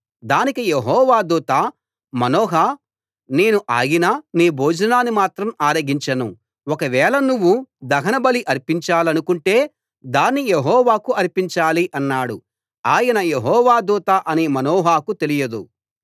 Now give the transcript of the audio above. దానికి యెహోవా దూత మనోహ నేను ఆగినా నీ భోజనాన్ని మాత్రం ఆరగించను ఒక వేళ నువ్వు దహన బలి అర్పించాలనుకుంటే దాన్ని యెహోవాకు అర్పించాలి అన్నాడు ఆయన యెహోవా దూత అని మనోహకు తెలియలేదు